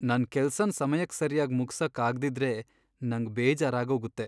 ನನ್ ಕೆಲ್ಸನ್ ಸಮಯಕ್ ಸರ್ಯಾಗ್ ಮುಗ್ಸಕ್ ಆಗ್ದಿದ್ರೆ ನಂಗ್ ಬೇಜಾರಾಗೋಗತ್ತೆ.